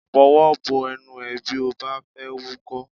Fọwọ́ bo ẹnu bí ó bá fẹ́ wúkọ́!